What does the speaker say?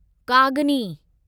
कागनी